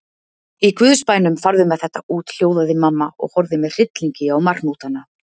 Í guðs bænum, farðu með þetta út, hljóðaði mamma og horfði með hryllingi á marhnútana.